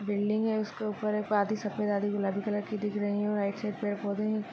Building है उसके उपर आधी सफेद आधी गुलाबी कलर कि दिक राही है राइट साईड पेड पौधे है।